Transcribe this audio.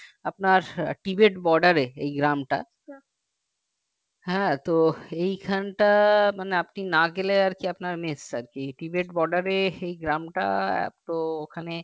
আপনার tibet border এই গ্রামটা হ্যাঁ তো এখানটা মানে আপনি না গেলে আপনার miss আরকি tibet border এ এই গ্রামটা এত ওখানে